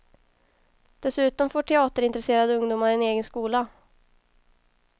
Dessutom får teaterintresserade ungdomar en egen skola.